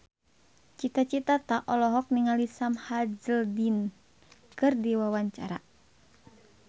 Cita Citata olohok ningali Sam Hazeldine keur diwawancara